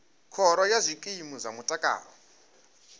khoro ya zwikimu zwa mutakalo